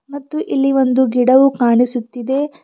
ಮತ್ತು ಇಲ್ಲಿ ಒಂದು ಗಿಡವು ಕಾಣಿಸುತ್ತಿದೆ.